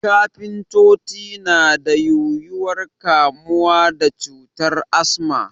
Kafintoci na da yuwuwar kamuwa da cutar Asma